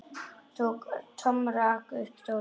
Tom rak upp stór augu.